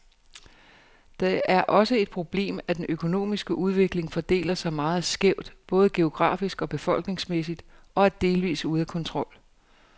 Det er også et problemet, at den økonomiske udvikling fordeler sig meget skævt, både geografisk og befolkningsmæssigt, og er delvist ude af kontrol.